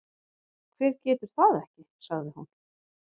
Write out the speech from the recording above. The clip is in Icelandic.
Hver getur það ekki? sagði hún.